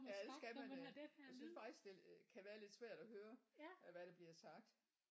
Ja det skal man da jeg synes faktisk det kan være lidt svært at høre øh hvad der bliver sagt